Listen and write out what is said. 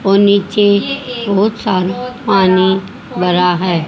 और नीचे बहोत सारा पानी भरा है।